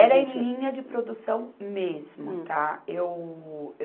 Era em linha de produção mesmo, tá? Hum. Eu, eu